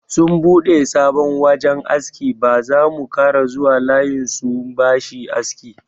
Sun bude sabon wajan aski, ba zamu kara zuwa layin sun bashi aski.